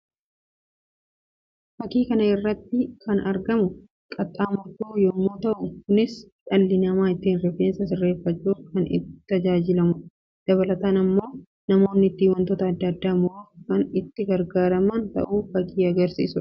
Fakki kana irratti kan argamu qaxxaamurtuu yammuu ta'u; kunis dhalli namaa ittiin rifeensa sirreeffachuuf kan itti tajaajilamuu dha. Dabalataan namoonni ittiin wantoota addaa addaa muruuf kan itti gargaaraman ta'u fakkii agarsiisuu dha.